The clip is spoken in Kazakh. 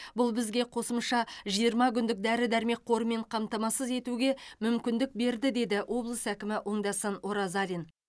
бұл бізге қосымша жиырма күндік дәрі дәрмек қорымен қамтамасыз етуге мүмкіндік берді деді облыс әкімі оңдасын оразалин